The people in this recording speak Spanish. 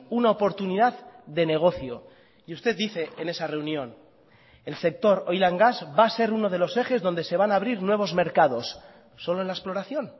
una oportunidad de negocio y usted dice en esa reunión el sector oil gas va a ser uno de los ejes donde se van a abrir nuevos mercados solo en la exploración